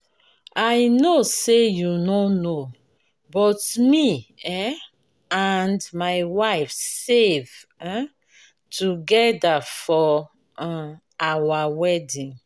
i no say you no know but me um and my wife save um together for um our wedding.